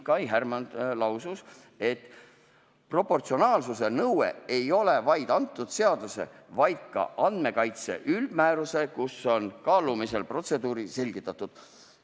Kai Härmand lausus, et proportsionaalsuse nõue ei ole ainult antud seaduses, vaid ka andmekaitse üldmääruses, kus on kaalumise protseduuri selgitatud.